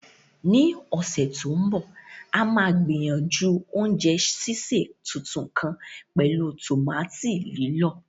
Ní ọ̀sẹ̀ tó ń bọ̀, a máa gbìyànjú oúnjẹ sísè tuntun kan pẹ̀lú tòmátì lílọ̀.